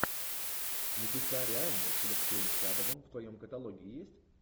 небеса реальны с алексеем чадовым в твоем каталоге есть